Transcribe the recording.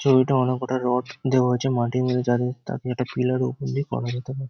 ছবিটায় অনেক কটা রড দেওয়া হয়েছে। মাটির যাতে তাকে একটা পিলার ওপর দিয়ে করা যেতে পারে।